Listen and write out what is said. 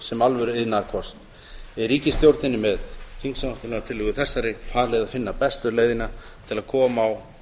sem alvöru iðnaðarkosts er ríkisstjórninni með þingsályktunartillögu þessari falið að finna bestu leiðina til þess að koma á